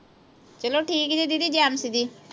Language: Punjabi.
ਚਲੋ ਠੀਕ ਜੀ didi ਜੈ ਮਸੀਹ ਦੀ।